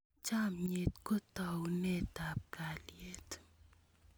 Chamet ko taunetap kalyet